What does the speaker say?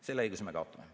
Selle õiguse me kaotame.